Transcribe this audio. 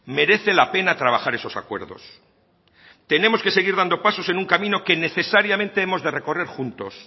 merece la pena trabajar esos acuerdos tenemos que seguir dando pasos en un camino que necesariamente hemos de recorrer juntos